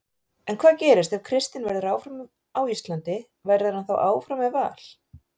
En hvað gerist ef Kristinn verður áfram á Íslandi, verður hann þá áfram með Val?